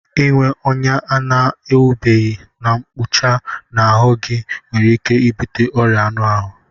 Ịnwe ọnya a na-agwọbeghị na mkpụcha n'ahụ gị nwere ike ibute ọrịa anụ ahụ